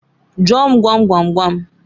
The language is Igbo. Jụọ m gwam gwam gwam?